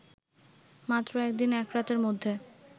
মাত্র একদিন একরাতের মধ্যে